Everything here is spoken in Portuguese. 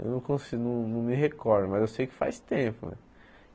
Eu não consi não não me recordo, mas eu sei que faz tempo.